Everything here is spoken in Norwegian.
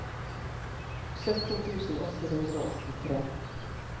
sytten tusen åtte hundre og åttitre